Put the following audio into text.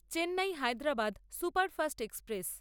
Chennai Hyderabad superfast express